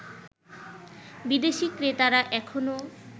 বিদেশী ক্রেতারা এখনও